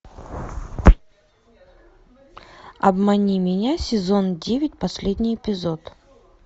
обмани меня сезон девять последний эпизод